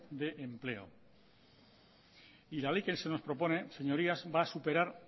de empleo y la ley que se nos propone señorías va a superar